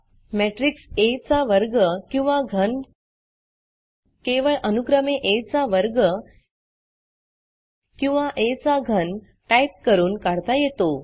matrix आ चा वर्ग किंवा घन केवळ अनुक्रमे आ चा वर्ग किंवा आ चा घन टाईप करून काढता येतो